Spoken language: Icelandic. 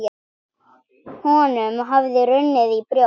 Honum hafði runnið í brjóst.